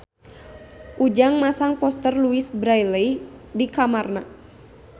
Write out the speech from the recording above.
Ujang masang poster Louise Brealey di kamarna